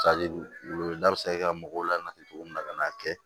welela bɛ se ka mɔgɔw latogo min na ka n'a kɛ